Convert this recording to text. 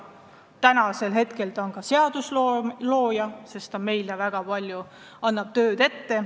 Praegu on ta ka seaduste looja, sest ta annab meile väga palju tööd ette.